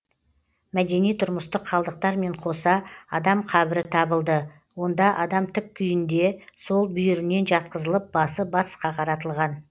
мәдени тұрмыстық қалдықтармен қоса адам қабірі табылды онда адам тік күйінде сол бүйірінен жатқызылып басы батысқа қаратылған